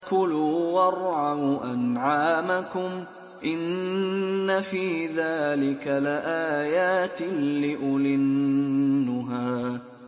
كُلُوا وَارْعَوْا أَنْعَامَكُمْ ۗ إِنَّ فِي ذَٰلِكَ لَآيَاتٍ لِّأُولِي النُّهَىٰ